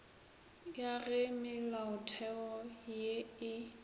ya ge melaotheo ye e